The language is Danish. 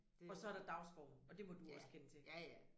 Det ja ja ja